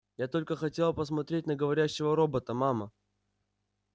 я только хотела посмотреть на говорящего робота мама